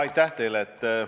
Aitäh teile!